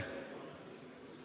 Ei ole.